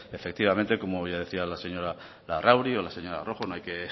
efectivamente como bien decía la señora larrauri o la señora rojo no hay que